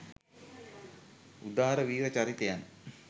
උදාර වීර චරිතයන්